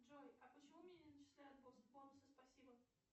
джой а почему мне не начисляют бонусы спасибо